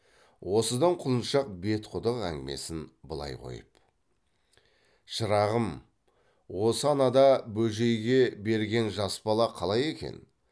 осыдан құлыншақ бетқұдық әңгімесін былай қойып шырағым осы анада бөжейге берген жас бала қалай екен